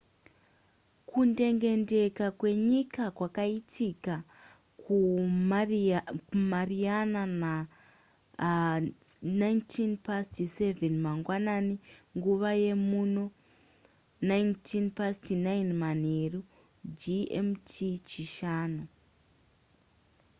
kundengendeka kwenyika kwakaitika kumariana na07:19 mangwanani nguva yemuno 09:19 manheru. gmt chishanu